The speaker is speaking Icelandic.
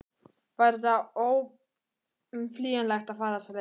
Var þetta óumflýjanlegt að fara þessa leið?